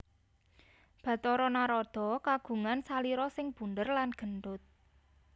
Bathara Narada kagungan salira sing bundér lan gendut